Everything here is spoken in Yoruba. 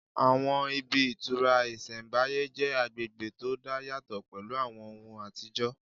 Àwọn ibi ìtura ìsẹ̀mbáyé jẹ́ agbègbè tó dá yàtọ̀ pẹ̀lú àwọn ohùn àtijọ́